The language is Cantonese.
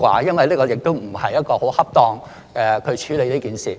因為這亦不是一種很恰當的處理方法。